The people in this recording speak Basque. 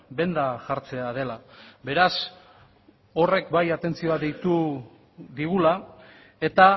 benda jartzea dela beraz horrek bai atentzioa deitu digula eta